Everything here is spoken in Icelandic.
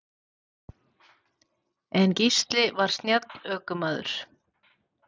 En Gísli var snjall ökumaður.